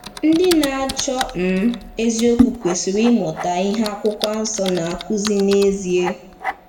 Ndị na-achọ um eziokwu kwesịrị ịmụta ihe Akwụkwọ Nsọ na-akụzi n’ezie.